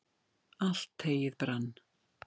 allt heyið brann